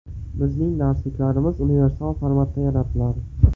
Bizning darsliklarimiz universal formatda yaratiladi.